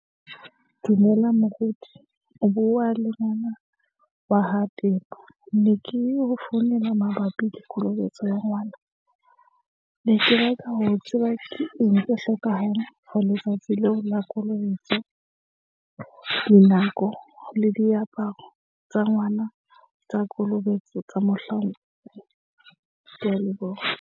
Dumela moruti o bua le ngwana wa ha Pepa. Ne ke ho founela mabapi le kolobetso ya ngwana. Ne ke batla ho tseba ke eng e hlokahala ho letsatsi leo la kolobetso, dinako le diaparo tsa ngwana tsa kolobetso tsa mohlang. Ke a leboha.